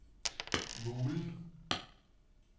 Mulen